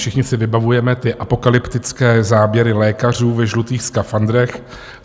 Všichni si vybavujeme ty apokalyptické záběry lékařů ve žlutých skafandrech.